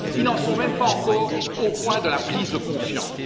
Ils n'en sont même pas encore au point de la prise de conscience.